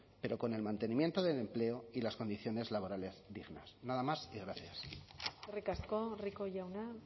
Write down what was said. pero con el mantenimiento del empleo y las condiciones laborales dignas nada más y gracias eskerrik asko rico jauna